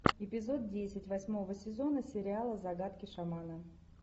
эпизод десять восьмого сезона сериала загадки шамана